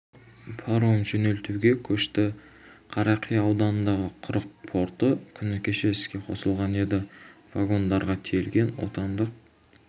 паром жөнелтуге көшті қарақия ауданындағы құрық порты күні кеше іске қосылған еді вагондарға тиелген отандық